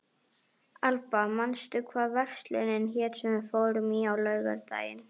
Alba, manstu hvað verslunin hét sem við fórum í á laugardaginn?